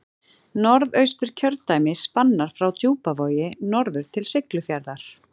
Norðausturkjördæmi spannar frá Djúpavogi norður til Siglufjarðar.